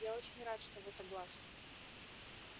я очень рад что вы согласны